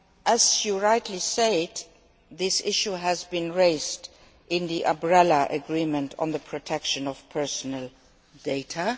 As you rightly said, this issue has been raised in the umbrella agreement on the protection of personal data.